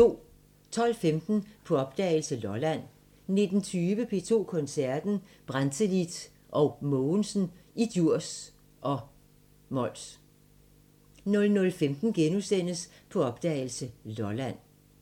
12:15: På opdagelse – Lolland 19:20: P2 Koncerten – Brantelid & Mogensen i Djurs og Mols 00:15: På opdagelse – Lolland *